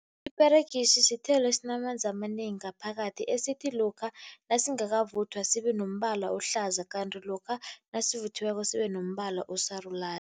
Iperegisi sithelo esinamanzi amanengi ngaphakathi, esithi lokha nasingakavuthwa sibe nombala ohlaza, kanti lokha nasivuthiweko sibe nombala osarulani.